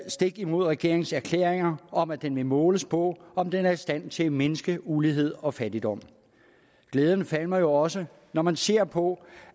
stik imod regeringens erklæring om at den vil måles på om den er i stand til at mindske ulighed og fattigdom glæden falmer også når man ser på